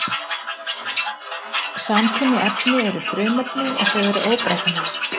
Samkynja efni eru frumefni og þau eru óbreytanleg.